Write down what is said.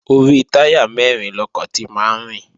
Orí táyà mẹ́rin lọkọ̀ ti máa ń rìn